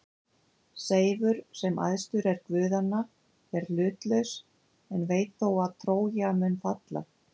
Seifur, sem æðstur er guðanna, er hlutlaus en veit þó að Trója mun falla.